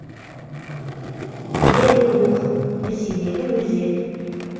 белый лух ресейдегі өзен